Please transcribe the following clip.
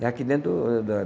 É aqui dentro do da